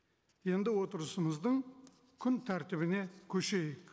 енді отырысымыздың күн тәртібіне көшейік